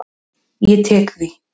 Ég tek því.